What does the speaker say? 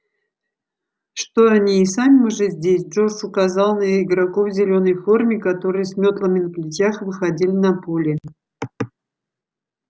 что они и сами уже здесь джордж указал на игроков в зелёной форме которые с мётлами на плечах выходили на поле